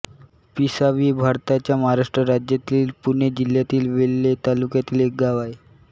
पिशावी हे भारताच्या महाराष्ट्र राज्यातील पुणे जिल्ह्यातील वेल्हे तालुक्यातील एक गाव आहे